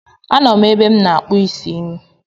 A nọ m ebe m na-akpụ isi m